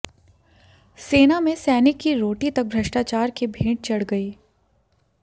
सेना में सैनिक की रोटी तक भ्रष्टाचार के भेंट चढ़ गई